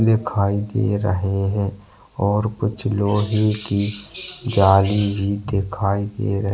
दिखाई दे रहे है और कुछ लोहे की गाड़ी भी दिखाई दे रही है।